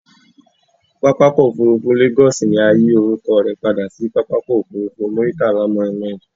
Pápákọ̀ òfurufú Lagos ni a yi orúkọ rẹ padà si pápákọ̀ òfurufú Muritala Muhammed